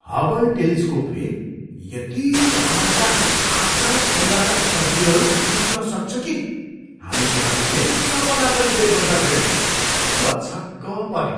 Hubble टेलिस्कोपले यति टाढाका आकाशगङ्गाका तस्बिरहरू खिच्न सक्छ कि हामी त्यहाँ पुग्ने सपना पनि देख्न सक्दैनौँ। म छक्क परेँ!